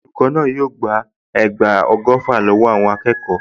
Olùkọ́ náà yóò gba ẹgba ọgọ́fà lọ́wọ́ àwọn akẹ́kọ̀ọ.